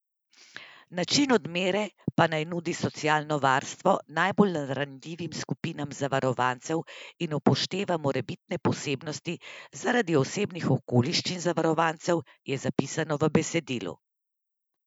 Način odmere pa naj nudi socialno varstvo najbolj ranljivim skupinam zavarovancev in upošteva morebitne posebnosti zaradi osebnih okoliščin zavarovancev, je zapisano v besedilu.